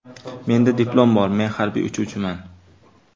Menda diplom bor, men harbiy uchuvchiman.